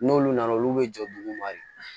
N'olu nana olu bɛ jɔ duguma de